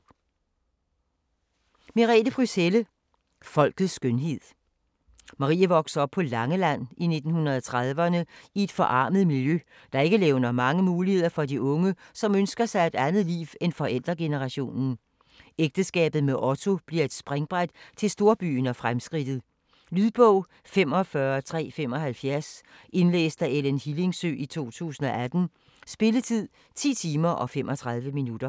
Helle, Merete Pryds: Folkets skønhed Marie vokser op på Langeland i 1930'erne i et forarmet miljø, der ikke levner mange muligheder for de unge, som ønsker sig et andet liv end forældregenerationen. Ægteskabet med Otto bliver et springbræt til storbyen og fremskridtet. Lydbog 45375 Indlæst af Ellen Hillingsø, 2018. Spilletid: 10 timer, 35 minutter.